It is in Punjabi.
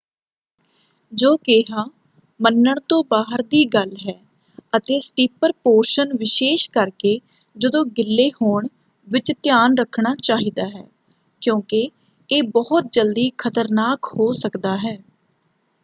ਜੋ ਕਿਹਾ ਮੰਨਣ ਤੋਂ ਬਾਹਰ ਦੀ ਗੱਲ ਹੈ ਅਤੇ ਸਟੀਪਰ ਪੋਰਸ਼ਨ ਵਿਸ਼ੇਸ਼ ਕਰਕੇ ਜਦੋਂ ਗਿੱਲੇ ਹੋਣ ਵਿੱਚ ਧਿਆਨ ਰੱਖਣਾ ਚਾਹੀਦਾ ਹੈ ਕਿਉਂਕਿ ਇਹ ਬਹੁਤ ਜਲਦੀ ਖ਼ਤਰਨਾਕ ਹੋ ਸਕਦਾ ਹੈ।